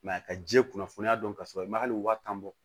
a ka ji kunnafoniya dɔn ka sɔrɔ i ma hali waa tan bɔ